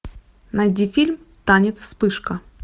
найди фильм танец вспышка